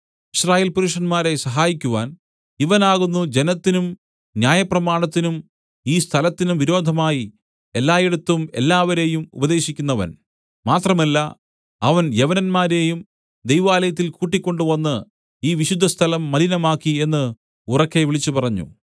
യിസ്രായേൽ പുരുഷന്മാരേ സഹായിക്കുവാൻ ഇവൻ ആകുന്നു ജനത്തിനും ന്യായപ്രമാണത്തിനും ഈ സ്ഥലത്തിനും വിരോധമായി എല്ലായിടത്തും എല്ലാവരെയും ഉപദേശിക്കുന്നവൻ മാത്രമല്ല അവൻ യവനന്മാരെയും ദൈവാലയത്തിൽ കൂട്ടിക്കൊണ്ടുവന്ന് ഈ വിശുദ്ധസ്ഥലം മലിനമാക്കി എന്ന് ഉറക്കെ വിളിച്ചുപറഞ്ഞു